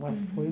Foi...